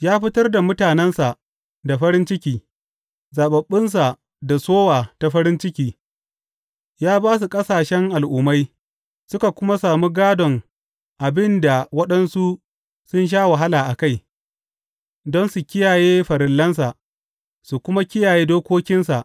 Ya fitar da mutanensa da farin ciki, zaɓaɓɓunsa da sowa ta farin ciki; ya ba su ƙasashen al’ummai, suka kuma sami gādon abin da waɗansu sun sha wahala a kai, don su kiyaye farillansa su kuma kiyaye dokokinsa.